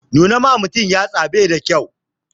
Nuna wa mutum yatsa bai da kyau